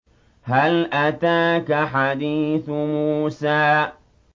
هَلْ أَتَاكَ حَدِيثُ مُوسَىٰ